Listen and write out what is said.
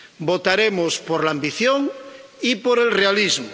Votaremos por la ambición y por el realismo.